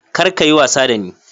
Kar ka yi wasa da ni!